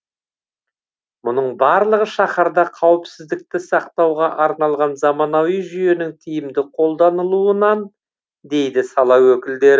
мұның барлығы шаһарда қауіпсіздікті сақтауға арналған заманауи жүйенің тиімді қолданылуынан дейді сала өкілдері